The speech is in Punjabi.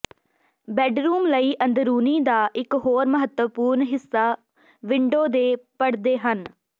ਬੈਡਰੂਮ ਲਈ ਅੰਦਰੂਨੀ ਦਾ ਇਕ ਹੋਰ ਮਹੱਤਵਪੂਰਨ ਹਿੱਸਾ ਵਿੰਡੋ ਦੇ ਪਰਦੇ ਹਨ